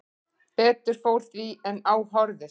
Betur fór því en á horfðist